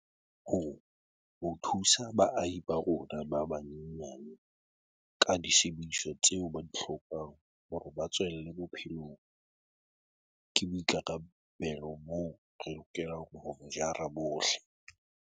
Ho thusa baahi ba rona ba banyenyane ka disebediswa tseo ba di hlokang hore ba tswelle bophelong ke boi karabelo boo re lokelang ho bo jara bohle.